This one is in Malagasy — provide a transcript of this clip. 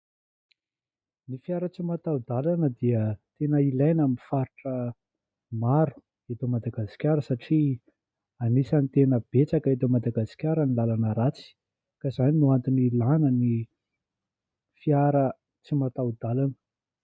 Ny fiara tsy matao-dalana dia tena ilaina amin'ny faritra maro eto Madagasikara satria anisan'ny tena betsaka eto Madagasikara ny lalana ratsy ka izany no antony ilana ny fiara tsy matao-dalana.